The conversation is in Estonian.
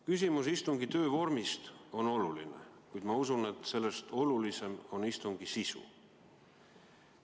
Küsimus istungi töövormist on oluline, kuid ma usun, et sellest olulisem on istungi sisu.